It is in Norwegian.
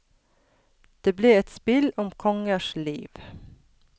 Det ble et spill om kongers liv.